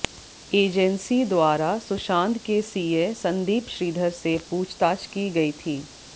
agency द्वारा सुशांत के CA Sandeep Shridhar से पूछताछ की गई थी